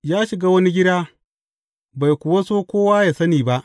Ya shiga wani gida, bai kuwa so kowa yă sani ba.